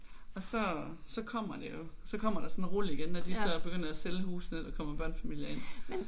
Og så så kommer det jo så kommer der sådan et rul igen når de så begynder at sælge husene og der kommer børnefamilier ind